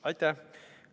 Aitäh!